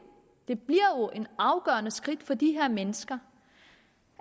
et afgørende skridt for de her mennesker